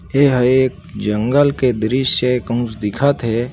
एहा एक जंगल के द्रश्य ए कुछ दिखत हे।